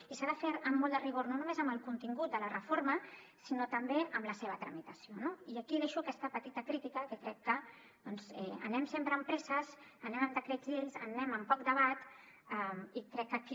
i s’ha de fer amb molt de rigor no només amb el contingut de la reforma sinó també amb la seva tramitació no i aquí deixo aquesta petita crítica que crec que doncs anem sempre amb presses anem amb decrets llei anem amb poc debat i crec que aquí